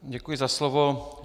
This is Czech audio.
Děkuji za slovo.